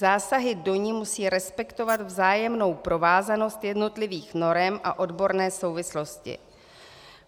Zásahy do ní musí respektovat vzájemnou provázanost jednotlivých norem a odborné souvislosti.